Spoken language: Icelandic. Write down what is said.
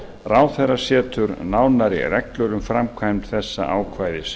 ráðherra setur nánari reglur um framkvæmd þessa ákvæðis